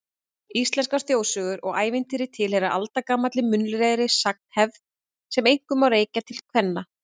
Íslenskar þjóðsögur og ævintýri tilheyra aldagamalli munnlegri sagnahefð sem einkum má rekja til kvenna.